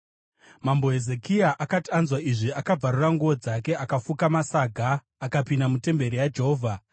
Mambo Hezekia akati anzwa izvi, akabvarura nguo dzake akafuka masaga akapinda mutemberi yaJehovha.